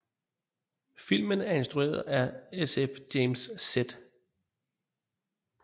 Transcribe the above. Filmen er instrueret sf James Z